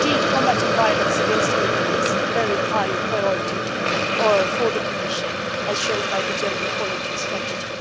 Combating violence against women is a very high priority for the Commission, as is shown by the gender equality strategy.